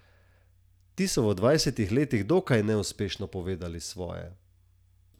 Ti so v dvajsetih letih dokaj neuspešno povedali svoje.